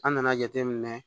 An nana jateminɛ